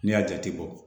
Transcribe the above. N'i y'a jate bɔ